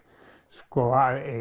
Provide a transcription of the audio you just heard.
sko